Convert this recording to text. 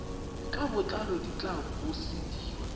ka botlalo di tla busediwa